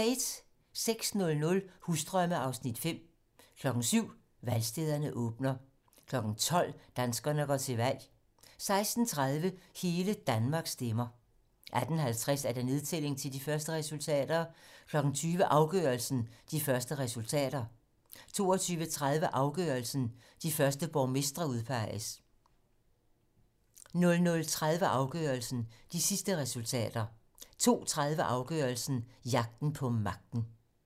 06:00: Husdrømme (Afs. 5) 07:00: Valgstederne åbner 12:00: Danskerne går til valg 16:30: Hele Danmark stemmer 18:50: Nedtælling til de første resultater 20:00: Afgørelsen: De første resultater 22:30: Afgørelsen: De første borgmestre udpeges 00:30: Afgørelsen: De sidste resultater 02:30: Afgørelsen: Jagten på magten